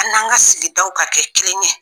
An n'an ka sigidaw ka kɛ kelen ye